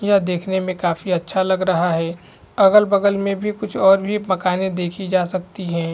यह देखने में काफी अच्छा लग रहा है अगल-बगल में भी कुछ और भी मकाने देखी जा सकती है।